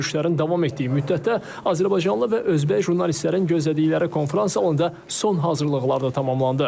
Görüşlərin davam etdiyi müddətdə azərbaycanlı və özbək jurnalistlərin gözlədikləri konfrans salonunda son hazırlıqlar da tamamlandı.